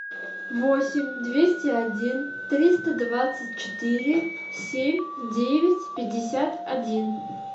восемь двести один триста двадцать четыре семь девять пятьдесят один